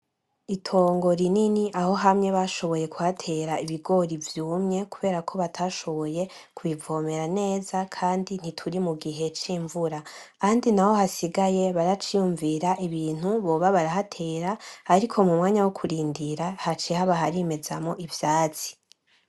Itongo rinini aho hamye bashoboye gutera ibigori vyumye kubera batashoboye kubi vomera neza, kandi ntituri mugihe cimvura. Ahandi naho hasigaye baraciyumvira ibintu boba barahatera, ariko mumwanya wokurindira haciye haba harimezamwo ivyatsi.